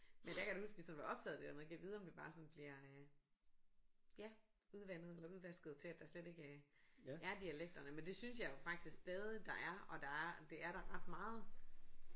Men der kan jeg da huske vi sådan var optaget af det der med gad vide om det bare sådan bliver øh ja udvandet eller udvasket til at der slet ikke øh er dialekterne men det synes jeg jo faktisk stadig der er og der er det er der ret meget